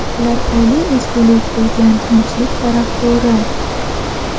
ular oliy ezgulik bo‘lgan tinchlik tarafdori.